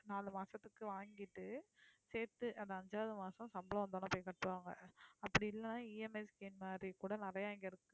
நாலு மாசத்துக்கு வாங்கிட்டு சேர்த்து அந்த அஞ்சாவது மாசம் சம்பளம் வந்தவுடனே போய் கட்டுவாங்க அப்படி இல்லைன்னா EMI scheme மாதிரி கூட நிறைய இங்க இருக்கு